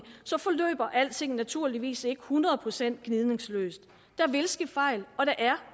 så forløber alting naturligvis ikke hundrede procent gnidningsløst der vil ske fejl